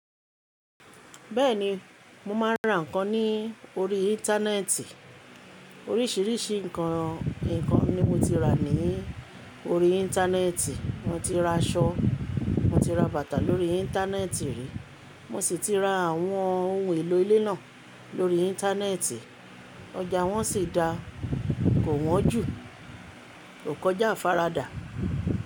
Bẹ́ẹ̀ni, mo máa ń ra nǹkan ní orí Íńtánẹ́ẹ̀tì. Oríṣìíríṣìí nǹkan ni mo ti rà ní orí Íńtánẹ́ẹ̀tì. Mo ti ra aṣọ, mo ti ra bàtà lórí Íńtánẹ́ẹ̀tì rí, mo sì ti ra àwọn ohun èlò ilé náà lórí Íńtánẹ́ẹ̀tì. Ọjà wọ́n sì dáa kò wọ́n jù, kò kọjá àfaradà.